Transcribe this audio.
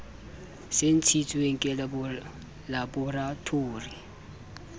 se ntshitsweng ke laboratori e